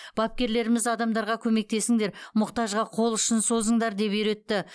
бапкерлеріміз адамдарға көмектесіңдер мұқтажға қол ұшын созыңдар деп үйретті